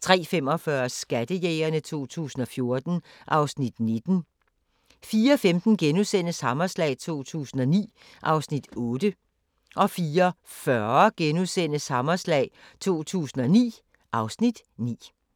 37) 03:45: Skattejægerne 2014 (Afs. 19) 04:15: Hammerslag 2009 (Afs. 8)* 04:40: Hammerslag 2009 (Afs. 9)*